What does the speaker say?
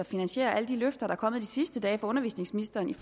finansiere alle de løfter der er kommet de sidste dage fra undervisningsministeren